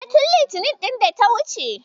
E, tin Litinin ɗin da ta wuce.